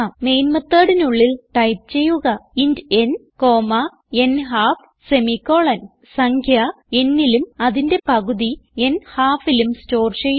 main methodനുള്ളിൽ type ചെയ്യുക int ന് ൻഹാൽഫ് സംഖ്യ nലും അതിന്റെ പകുതി ൻഹാൽഫ് ലും സ്റ്റോർ ചെയ്യുന്നു